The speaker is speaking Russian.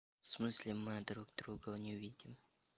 в смысле мы друг друга не увидим